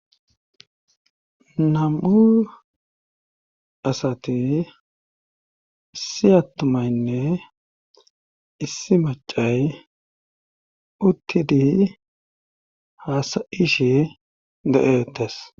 Nam7u asati issi attumaynne issi macay uttidi haasayishi de7eetes.